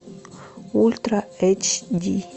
ультра эйч ди